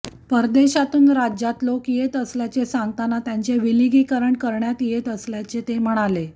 परदेशातून राज्यात लोक येत असल्याचे सांगतांना त्यांचे विलगीकरण करण्यात येत असल्याचे ते म्हणाले